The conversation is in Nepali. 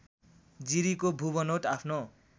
जिरीको भूबनौट आफ्नो